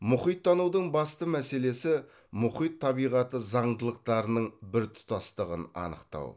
мұхиттанудың басты мәселесі мұхит табиғаты заңдылықтарының біртұтастығын анықтау